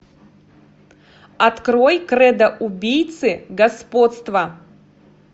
открой кредо убийцы господство